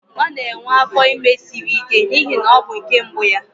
Ọ na-enwe afọ ime siri ike n'ihi na ọ bụ nke mbụ ya